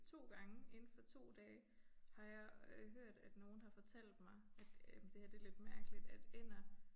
2 gange indenfor 2 dage har jeg øh hørt at nogen har fortalt mig at øh det her det lidt mærkeligt at ænder